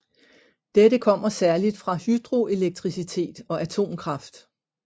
Dette kommer særligt fra hydroelektricitet og atomkraft